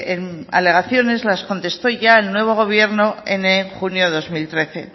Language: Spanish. esas alegaciones las contestó ya el nuevo gobierno en junio de dos mil trece